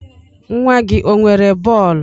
Nwa gị o nwere bọọlu?